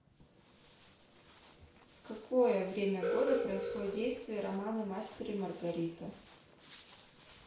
в какое время года происходит действие романа мастер и маргарита